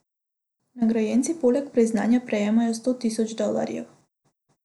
Nagrajenci poleg priznanja prejmejo sto tisoč dolarjev.